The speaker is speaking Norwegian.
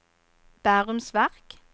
Bærums Verk